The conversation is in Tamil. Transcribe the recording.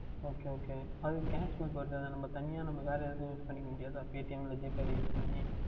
Ok Ok அது Cashback வருகின்றது இல்லை அது நாம் தனியா வேர் எதுலையாவுது Use பணிகொள்ள முடியாதா Paytm இல் GPay வில் Use பண்ணி